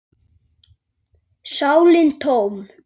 sálin tóm.